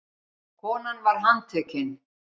Konan var handtekin